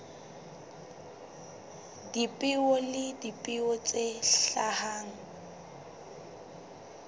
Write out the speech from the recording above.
dipeo le dipeo tse hlahang